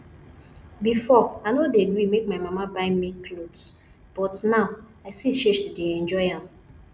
before i no dey gree make my mama buy me cloth but now i see say she dey enjoy am